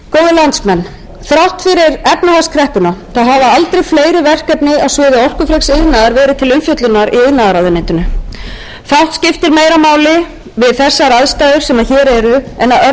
landsmenn þrátt fyrir efnahagskreppuna hafa aldrei fleiri verkefni á sviði orkufreks iðnaðar verið til umfjöllunar í iðnaðarráðuneytinu fátt skiptir meira máli við þessar aðstæður sem hér eru en að örva